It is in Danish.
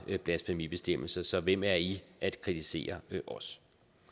blasfemibestemmelse så hvem er i at kritisere os